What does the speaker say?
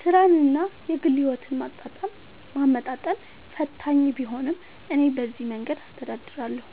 ሥራንና የግል ሕይወትን ማመጣጠን ፈታኝ ቢሆንም፣ እኔ በዚህ መንገድ አስተዳድራለሁ፦